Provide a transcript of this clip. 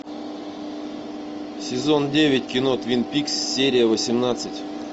сезон девять кино твин пикс серия восемнадцать